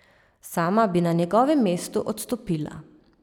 Sama bi na njegovem mestu odstopila.